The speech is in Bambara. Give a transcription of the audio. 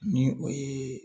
Ni o ye